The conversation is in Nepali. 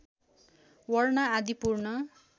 वर्ण आदि पूर्ण